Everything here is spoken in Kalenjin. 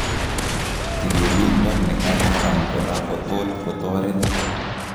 Tililindo nekaran koraa kotot kotoret